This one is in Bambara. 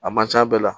A man ca bɛɛ la